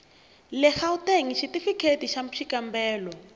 le gauteng xitifikheyiti xa xikambelo